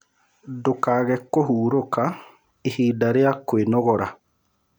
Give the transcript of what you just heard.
Ndũkage kũhũrũka ĩhĩda rĩa kwĩnogora